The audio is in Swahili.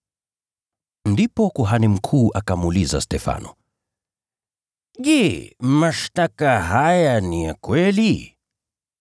Ndipo kuhani mkuu akamuuliza Stefano, “Je, mashtaka haya ni ya kweli?”